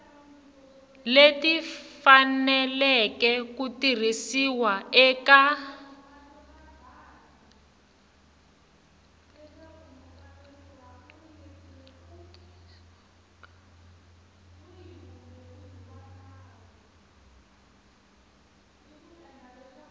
leti faneleke ku tirhisiwa eka